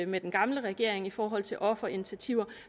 med den gamle regering i forhold til offerinitiativer